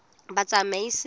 batsamaisi